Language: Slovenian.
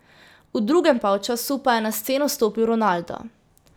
V drugem polčasu pa je na sceno stopil Ronaldo.